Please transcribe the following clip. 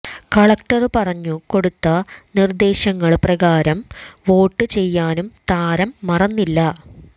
collector പറഞ്ഞു കൊടുത്ത നിര്ദേശങ്ങള് പ്രകാരം വോട്ട് ചെയ്യാനും താരം മറന്നില്ല